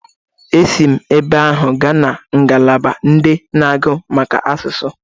Esi ma ebe ahụ gaa na ngalaba ndị agụ maka asụsụ.